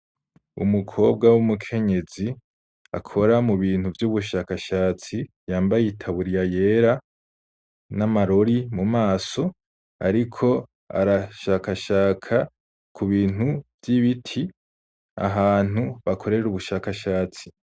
Umukobwa w'umukenyezi, akora mu bintu vy'ubushakashatsi, yambaye itaburiya yera, n'amarori mu maso; ariko arashakashaka ku bintu vy'ibiti, ahantu bakorera ubushakashatsi.